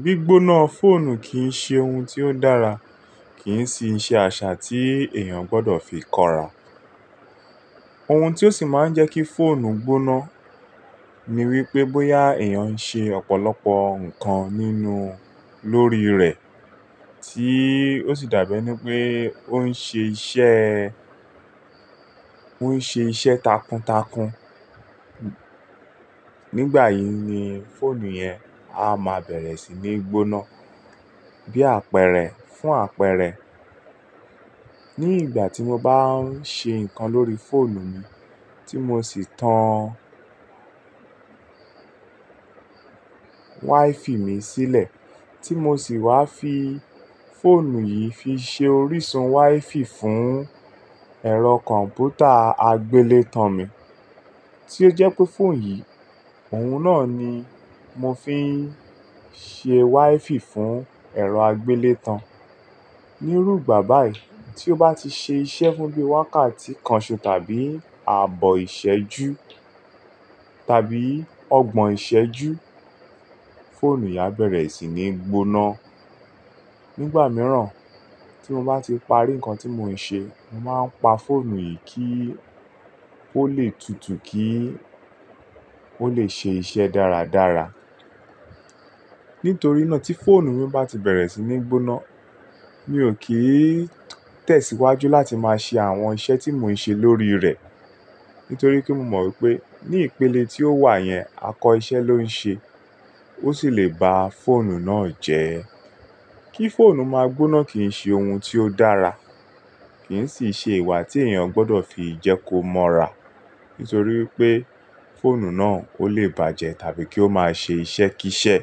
Gbígbóná fóònù kì ń ṣe ohun tí ó dára, kì ń sì ṣe àṣà tí èèyàn gbọdọ̀ fi kọra. Ohun tí ó sì máa ń jẹ́ kí fóònù gbóná ni wí pé bóyá èèyàn ń ṣe ọ̀pọ̀lọpọ̀ nǹkan nínú lórí rẹ̀, tí ó sì dàbí ẹni wí pé ó ń ṣe iṣẹ́, ó ń ṣe iṣẹ́ takuntakun. Nígbà yìí ni fóònù yẹn a máa bẹ̀rẹ̀ sí ní gbóná bí àpẹrẹ fún àpẹrẹ. Ní ìgbà tí mo bá ń ṣe nǹkan lórí fóònù mi tí mo sì tan wáífì mi sílẹ̀, tí mo sì wá fi fóònù yìí fi ṣe orísun wáífì fún ẹ̀rọ kọ̀m̀pútà agbélétan mi, tí ó jẹ́ pé fóònù yìí, òun náà ni mo fi ń ṣe wáífì fún ẹ̀rọ agbélétan. Nírúgbà báyìí tí ó bá ti ṣe iṣẹ́ fún bí wákàtí kan ṣoṣo tàbí ààbọ̀ ìṣẹ́jú tàbí ọgbọ̀n ìṣẹ́jú, fóònù yìí á bẹ̀rẹ̀ sí ní gbóná. Nígbà mìíràn tí mo bá ti parí nǹkan tí mò ń ṣe, mo màá pa fóònù yìí kí ó lè tutù kí ó lè ṣe iṣẹ́ dáradára. Nítorí náà tí fóònù mi bá ti bẹ̀rẹ̀ sí ní gbóná, mi ò kí tẹ̀síwájú láti máa ṣe àwọn iṣẹ́ tí mò ń ṣe lórí rẹ̀. Nítorí kí mo mọ̀ wi pé ní ìpele tí ó wà yẹn, àkọ́iṣẹ́ ló ń ṣe. Ó sì lè ba fóònù náà jẹ́. Kí fóònù máa gbóná kì ń ṣe ohun tí ó dára, kì ń sì ṣe ìwà tí èèyàn gbọdọ̀ fi jẹ́ kó mọ́ra. Nítorí wí pé fóònù náà ó lè bàjẹ́ tàbí kí ó máa ṣe iṣẹ́ kí iṣẹ́.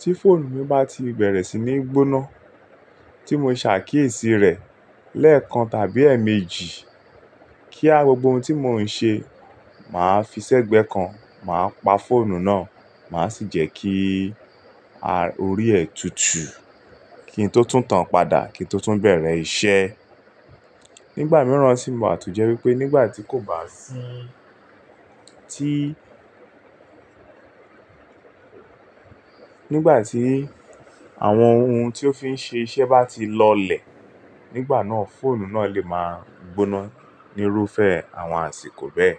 Tí fóònù mi bá ti bẹ̀rẹ̀ sí ní gbóná tí mo ṣàkíyèsí rẹ̀ lẹ́ẹ̀kan tàbí èèmejì kíá gbogbo ohun tí mò ń ṣe, màá fi sẹ́gbẹ̀ẹ́ kan màá pa fóònù náà, màá sì jẹ́ kí a orí ẹ tutù kí n tó tún tán padà kí n tó tún bẹ̀rẹ̀ iṣẹ́. Nígbà mìíràn sì máa tú jẹ́ wí pé nígbà tí kò bá sí, tí, nígbà tí àwọn ohun tí ó fi ń ṣe iṣẹ́ bá ti lọlẹ̀, nígbà náà fóònù náà lè máa gbóná nírúfẹ́ àwọn àsìkò bẹ́ẹ̀.